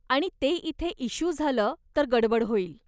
आणि ते इथे इस्श्यू झालं तर गडबड होईल.